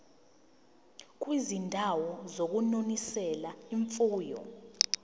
kwizindawo zokunonisela imfuyo